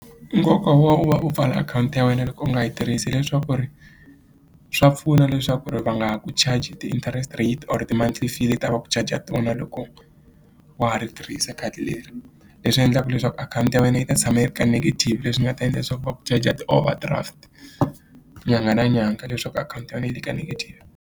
Nkoka wa u va u pfala akhawunti ya wena loko u nga yi tirhisi hileswaku ri swa pfuna leswaku ri va nga ku charge ti-interest rate or ti mount life yi ta va ku charger ti vona loko wa ha ri tirhisa khadi leri leswi endlaka leswaku akhawunti ya wena yi ta tshama yi ri ka negative leswi ni nga ta endla leswaku va ku charger ti-overdraft nyanga na nyanga leswaku akhawunti ya wena yi le ka negative.